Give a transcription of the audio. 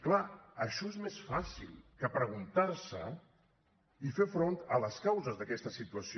clar això és més fàcil que preguntar se i fer front a les causes d’aquesta situació